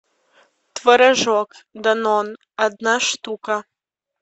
творожок данон одна штука